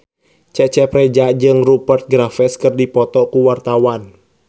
Cecep Reza jeung Rupert Graves keur dipoto ku wartawan